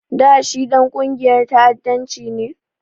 Da shi Ɗan ƙungiyar ta'addanci ne?